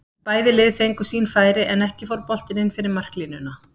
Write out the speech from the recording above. Bæði lið fengu sín færi en ekki fór boltinn inn fyrir marklínuna.